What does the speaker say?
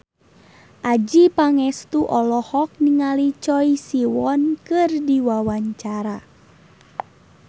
Adjie Pangestu olohok ningali Choi Siwon keur diwawancara